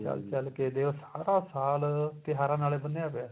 ਚੱਲ ਚੱਲ ਕੇ ਸਾਰਾ ਸਾਲ ਤਿਉਹਾਰਾਂ ਨਾਲ ਬੰਨਿਆ ਪਿਆ